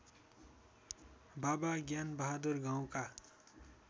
बाबा ज्ञानबहादुर गाउँका